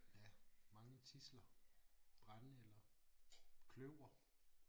Ja mange tidsler brændenælder kløver